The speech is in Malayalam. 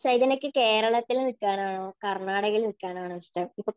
ചൈതന്യയ്ക്ക് കേരളത്തിൽ നിക്കാനാണോ കർണാടകയിൽ നിൽക്കാനാണോ ഇഷ്ടം?